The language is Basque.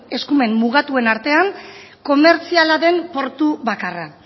eskumen mugatuen artean komertziala den portu bakarra